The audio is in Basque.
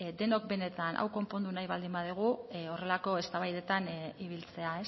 denok benetan hau konpondu nahi baldin badugu horrelako eztabaidetan ibiltzea